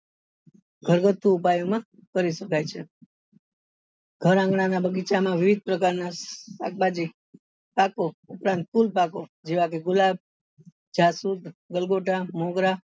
ઘર ગાથું ઉપાયો માં કરી શકાય છે ઘર આંગણા ના બગીચા માં વિવિધ પ્રકાર ના શાકભાજી પાકો તથા ફૂલ પાકો જેવા કે ગુલાબ જાસુદ ગલગોટા મોગરા